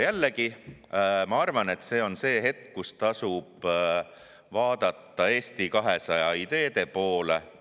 Jällegi ma arvan, et see on see hetk, kui tasub vaadata Eesti 200 ideede poole.